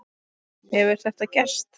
Hefur þetta gerst?